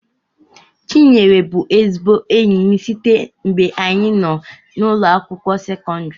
chinyere bu ezigbo enyim sitee ngbe anyi noo na ụlọ akwụkwọ sekondri